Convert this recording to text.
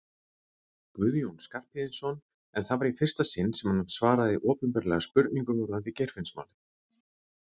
Guðjón Skarphéðinsson en það var í fyrsta sinn sem hann svaraði opinberlega spurningum varðandi Geirfinnsmálið.